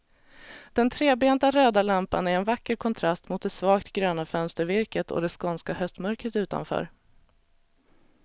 Den trebenta röda lampan är en vacker kontrast mot det svagt gröna fönstervirket och det skånska höstmörkret utanför.